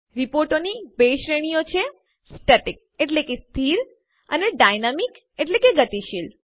રીપોર્ટોની બે શ્રેણીઓ છે સ્ટેટિક સ્થિર અને ડાયનામિક ગતિશીલ